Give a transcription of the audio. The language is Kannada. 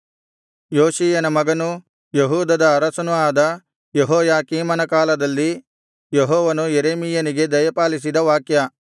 ಯೋಷೀಯನ ಮಗನೂ ಯೆಹೂದದ ಅರಸನೂ ಆದ ಯೆಹೋಯಾಕೀಮನ ಕಾಲದಲ್ಲಿ ಯೆಹೋವನು ಯೆರೆಮೀಯನಿಗೆ ದಯಪಾಲಿಸಿದ ವಾಕ್ಯ